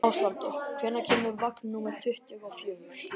Ásvaldur, hvenær kemur vagn númer tuttugu og fjögur?